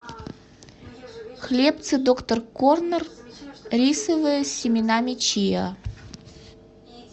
хлебцы доктор корнер рисовые с семенами чиа